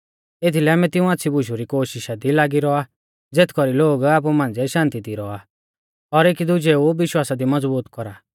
एथीलै आमै तिऊं आच़्छ़ी बुशु री कोशिषा दी लागी रौआ ज़ेथ कौरी लोग आपु मांझ़िऐ शान्ति दी रौआ और एकी दुजेऊ विश्वासा दी मज़बूत कौरा